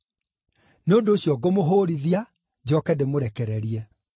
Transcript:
Nĩ ũndũ ũcio ngũmũhũũrithia, njooke ndĩmũrekererie.” (